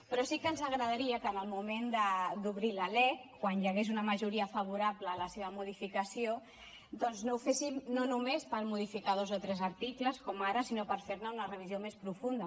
però sí que ens agradaria que en el moment d’obrir la lec quan hi hagués una majoria favorable a la seva modificació doncs ho féssim no només per modificar dos o tres articles com ara sinó per fer ne una revisió més profunda